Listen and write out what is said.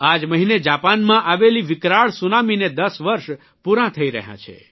આ જ મહિને જાપાનમાં આવેલી વિકરાઇ સુનામીને 10 વરસ પૂરાં થઇ રહ્યાં છે